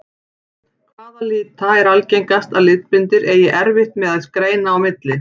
Hvaða lita er algengast að litblindir eigi erfitt með að greina á milli?